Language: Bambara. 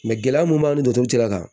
gɛlɛya mun b'an ni duturu cira